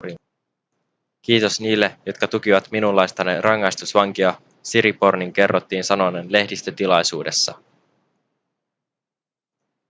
kiitos niille jotka tukivat minunlaistani rangaistusvankia siripornin kerrottiin sanoneen lehdistötilaisuudessa